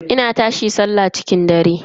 Ina tashi sallah cikin dare.